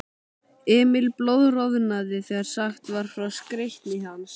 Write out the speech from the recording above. Emil blóðroðnaði þegar sagt var frá skreytni hans.